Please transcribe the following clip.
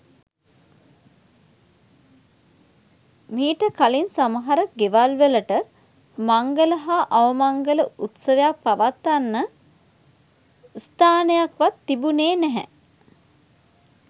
මීට කලින් සමහර ගෙවල් වලට මංගල හා අවමංගල උත්සවයක් පවත්වන්න ස්ථානයක්වත් තිබුණේ නැහැ.